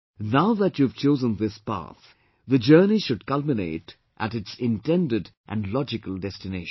Now that you have chosen this path, the journey should culminate at its intended and logical destination